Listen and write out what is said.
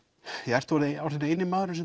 ert þú orðinn eini maðurinn sem